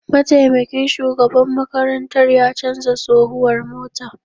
Mataimakin shugaban makarantar ya canza tsohuwar mota